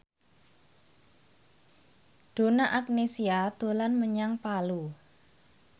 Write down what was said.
Donna Agnesia dolan menyang Palu